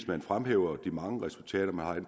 man fremhæver de mange resultater man har i